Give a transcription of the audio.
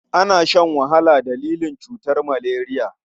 Ana shan wahala dalilin cutar maleriya.